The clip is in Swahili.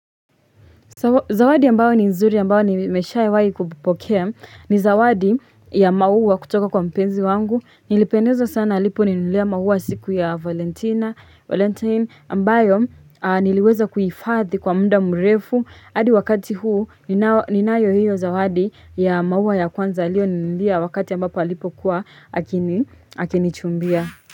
Zawadi ambayo ni nzuri ambayo nimeshawahi kupokea ni zawadi ya maua kutoka kwa mpenzi wangu. Nilipendezwa sana aliponinunulia maua siku ya Valentina, Valentine ambayo niliweza kuhifadhi kwa muda mrefu. Adi wakati huu ninayo hiyo zawadi ya maua ya kwanza aliyoninunulia wakati ambapo alipokuwa akinichumbia.